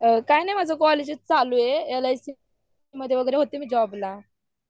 काय नाही माझं एज्युकेशन चालू आहे एलआयसी मध्ये वगैरे होते मी जॉब ला